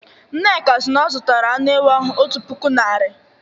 Nneka si na ọ zụtara anụ ewu ahụ otu puku naira